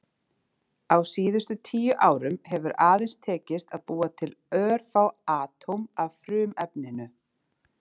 Á síðustu tíu árum hefur aðeins tekist að búa til örfá atóm af frumefninu.